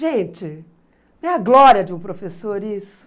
Gente, não é a glória de um professor isso?